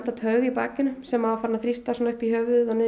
taug í bakinu sem var farin að þrýsta upp í höfuðið og niður